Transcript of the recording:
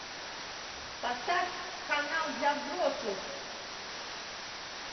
поставь канал для взрослых